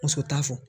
Muso t'a fɔ